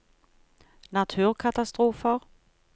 naturkatastrofer